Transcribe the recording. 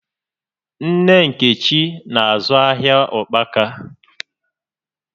Nne Nkechi na-azụ ahịa ụkpaka